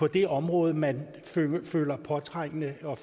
det område man føler påtrængende og